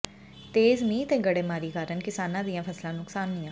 ਤੇਜ਼ ਮੀਂਹ ਤੇ ਗੜੇਮਾਰੀ ਕਾਰਨ ਕਿਸਾਨਾਂ ਦੀਆਂ ਫਸਲਾਂ ਨੁਕਸਾਨੀਆਂ